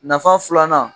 Nafa filanan